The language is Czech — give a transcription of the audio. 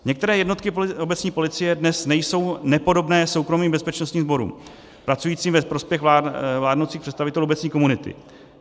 Některé jednotky obecní policie dnes nejsou nepodobné soukromým bezpečnostním sborům pracujícím ve prospěch vládnoucích představitelů obecní komunity.